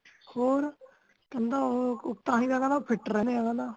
ਹੋਰ ਕਹਿੰਦਾ ਉਹ ਤਾਹਿ ਕਹਿੰਦਾ fit ਰਹਿੰਦੇ ਆ ਕਹਿੰਦਾ